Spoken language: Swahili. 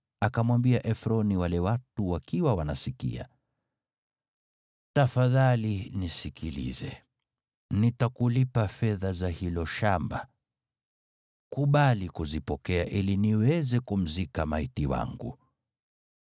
akamwambia Efroni wale watu wakiwa wanasikia, “Tafadhali nisikilize. Nitakulipa fedha za hilo shamba. Kubali kuzipokea ili niweze kumzika maiti wangu.”